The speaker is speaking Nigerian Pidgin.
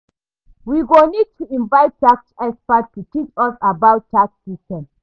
We go need to invite tax expert to teach us about tax system.